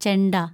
ചെണ്ട